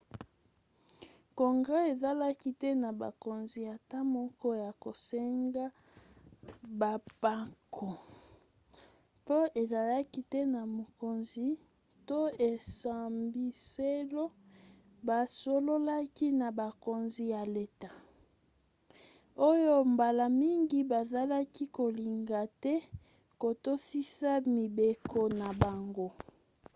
congrès ezalaki te na bokonzi ata moko ya kosenga bampako mpo ezalaki te na mokonzi to esambiselo basololaki na bakonzi ya leta oyo mbala mingi bazalaki kolinga te kotosisa mibeko na bango